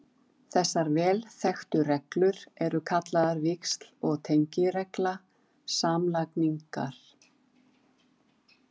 Þessar vel þekktu reglur eru kallaðar víxl- og tengiregla samlagningar.